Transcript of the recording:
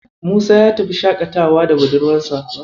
Musa ya tafi shaƙatawa da budurwarsa.